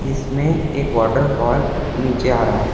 इसमें एक वॉटरफॉल नीचे आ रहा है।